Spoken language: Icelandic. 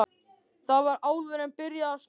Það var áður en byrjaði að snjóa.